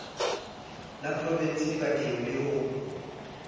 la provinse dibankeng le ho